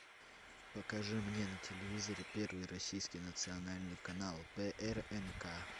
покажи мне на телевизоре первый российский национальный канал прнк